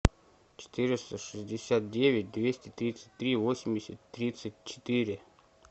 четыреста шестьдесят девять двести тридцать три восемьдесят тридцать четыре